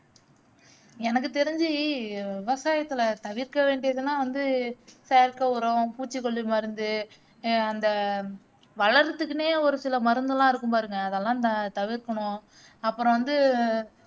எனக்கு தெரிஞ்சு விவசாயத்துல தவிற்கவேண்டியதுனா வந்து செயற்கை உரம், பூச்சிக்கொல்லி மருந்து அஹ் அந்த வளர்றதுக்குன்னே ஒரு சில மருந்தெல்லாம் இருக்கும் பாருங்க அதெல்லாம் ததவிற்கணும் அப்பறம் வந்து